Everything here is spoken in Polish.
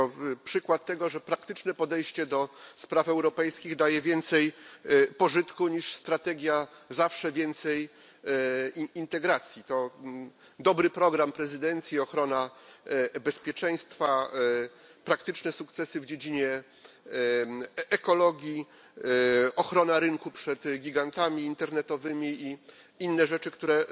To przykład tego, że praktyczne podejście do spraw europejskich daje więcej pożytku niż strategia zawsze więcej integracji. To dobry program prezydencji, ochrona bezpieczeństwa, praktyczne sukcesy w dziedzinie ekologii, ochrona rynku przed gigantami internetowymi i inne rzeczy, które